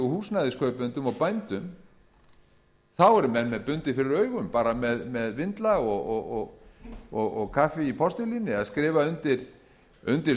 húsnæðiskaupendum og bændum eru menn með bundið fyrir augun bara með vindla og kaffi í postulíni að skrifa undir skuldbindingar